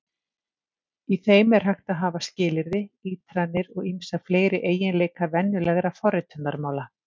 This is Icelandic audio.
Í þeim er hægt að hafa skilyrði, ítranir og ýmsa fleiri eiginleika venjulegra forritunarmála.